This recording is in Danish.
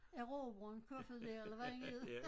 Erobreren Kofoed der eller hvad han hed